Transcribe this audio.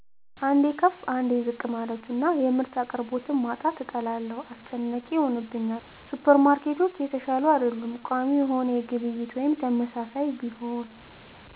አንዴ ከፍ አንዴ ዝቅ ማለቱና የምርት አቅርቦት ማጣትን እጠላለሁ። አስጨናቂ ይሆንብኛል። ሱፐርማርኬቶች የተሻሉ አይደሉም። ቋሚ የሆነ ግብይት ወይም ተመሳሳይ ቢሆን